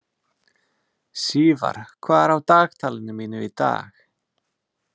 Sívar, hvað er á dagatalinu mínu í dag?